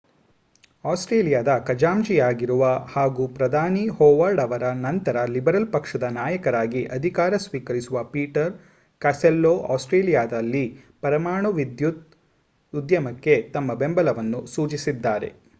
ಆಸ್ಟ್ರೇಲಿಯಾದ ಖಜಾಂಚಿಯಾಗಿರುವ ಹಾಗೂ ಪ್ರಧಾನಿ ಜಾನ್ ಹೊವಾರ್ಡ್ ಅವರ ನಂತರ ಲಿಬರಲ್ ಪಕ್ಷದ ನಾಯಕರಾಗಿ ಅಧಿಕಾರ ಸ್ವೀಕರಿಸುವ ಪೀಟರ್ ಕಾಸ್ಟೆಲ್ಲೊ ಆಸ್ಟ್ರೇಲಿಯಾದಲ್ಲಿ ಪರಮಾಣು ವಿದ್ಯುತ್ ಉದ್ಯಮಕ್ಕೆ ತಮ್ಮ ಬೆಂಬಲವನ್ನು ಸೂಚಿಸಿದ್ದಾರೆ